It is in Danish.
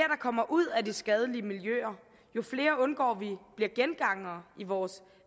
kommer ud af de skadelige miljøer jo flere undgår vi bliver gengangere i vores